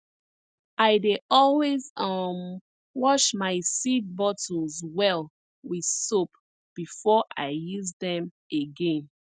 i dey always um wash my seed bottles well with soap before i use dem again